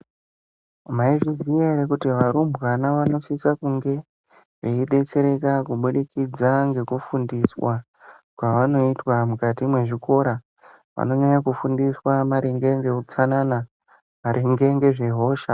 Maizviziva here kuti varumbwana vanosisa kunge veibetsereka kubudikidza ngokufundiswa kwavanoitwa mukati mwezvikora vanonyanya kufundiswa maringe ngeutsanana, maringe ngezve hosha.